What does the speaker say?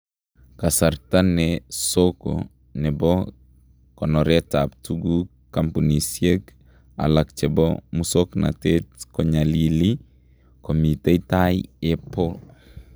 Kasarta ne soko nebo konoretab tukuk kampunisyeek alak chebo musoknotet konyalili , komiten taai Apple